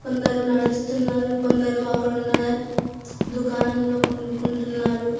కొందరు నడుస్తున్నారు కొందరు అక్కడ ఉన్న దుకాణంలో కొనుక్కుంటున్నారు.